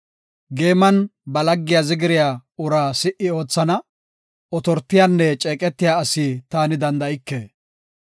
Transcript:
Geeman ba laggiya zigiriya uraa si77i oothana; otortiyanne ceeqetiya asi taani danda7ike.